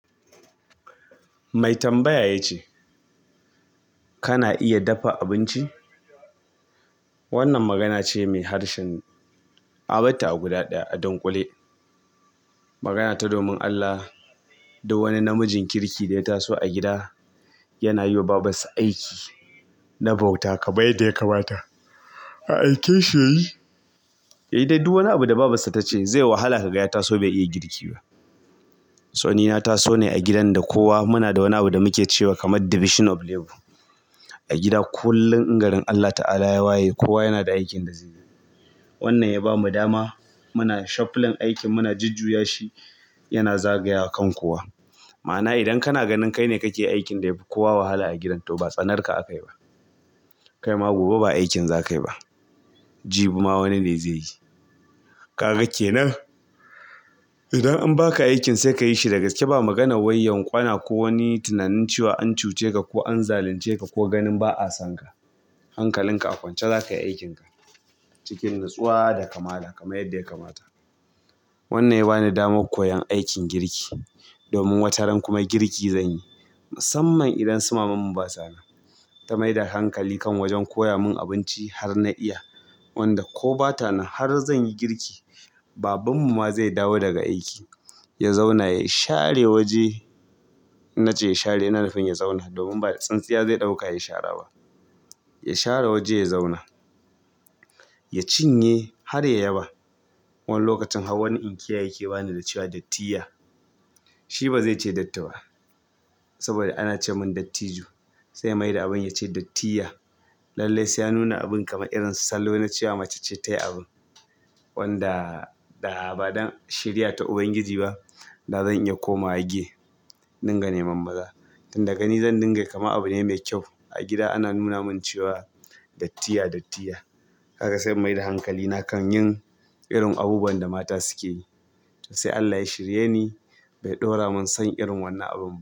Mai tambaya ya ce, "Kana iya dafa abinci?" Wannan magana ce mai harshen abata a gudadaya a dankule. Magana ta domin Allah, duk wani namijin kirki da ya taso a gida yana yiwa babarsa aiki na bauta kamar yanda yakamata. Aikin shi ya yi. Ya yi daiduk wani abu da babarsa ta ce zai yi wahala ka ga ya taso bai iya girki ba. To ni na taso ne agidan kowa munada wani abu da muke cewa kamar division of labor. A gida kullum in gari Allah ta'ala ya waye, kowa yana da aikin da zai yi. Wannan ya bamu dama muna shuffling aikin, muna jujjuyashi yana zagaya kan kowa. Ma'ana idan kana ganin kai ne kake aikin da yafi kowa wahala a gidan to batsanarka aka yi ba. Kai ma gobe ba aikin zakayi ba. Jibi ma wani ne zai yi. Kaga kenan? Idan an baka aikin sai kayi shi dagaske ba maganar waiyan kwana ko wani tunanin cewa an cuce ka ko an zalunce ka ko ganin ba a san ka. Hankalin ka a kwance zakayi aikin ka cikin natsuwa da kamala kamar yadda ya kamata. Wannan ya bani damar koyon aikin girki domin wata ran kuma girki zanyi. Musamman idan su maman mu ba sa nan. Ta mai da hankali kan wajen koya mun abinci har na iya. Wanda ko ba ta nan har zan yi girki. Baban mu ma zai dawo daga aiki, ya zauna ya share waje. Na ce ya share na nufin ya zauna domin ba da tsintsiya zai ɗauka ya share ba. Ya share waje ya zauna. Ya cinye har ya yaba. Wani lokacin har wani inkiya yake bani da cewa dattiya. Shi bazai ce datta ba. Saboda ana ce mun dattiju. Saiya mai da abin ya ce dattiya. Lallai sai ya nuna abin kamar irin salon na cewa mace ce tayi abun. Wanda da ba don shiriya ta Ubangiji ba, da zan iya komawa gay indingane manmaza. Tun da gani zan dinga kama abu ne mai kyau. Agida ana nuna min cewa dattiya dattiya kaga sai in mai da hankali na kan yin irin abubuwan da mata suke yi. To sai Allah ya shirye ni bai ɗora mun son irin wannan abu ba.